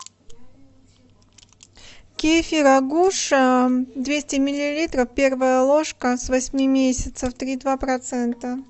кефир агуша двести миллилитров первая ложка с восьми месяцев три и два процента